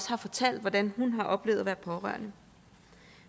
har fortalt hvordan hun har oplevet at være pårørende